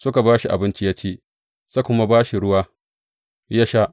Suka ba shi abinci ya ci, suka kuma ba shi ruwa ya sha.